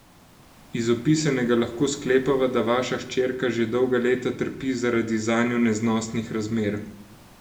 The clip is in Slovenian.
Iz opisanega lahko sklepava, da vaša hčerka že dolga leta trpi zaradi zanjo neznosnih razmer.